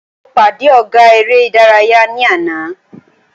Mo pàdé ọ̀gá eré ìdárayá ní àná.